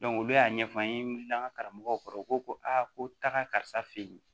olu y'a ɲɛfɔ an ye an ka karamɔgɔw kɔrɔ u ko ko a ko taga karisa ye